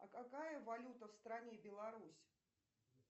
а какая валюта в стране беларусь